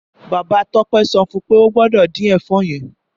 Bàbá Tope sọfún pe o gbọdọ̀ dín ẹ̀fọ́ yẹn.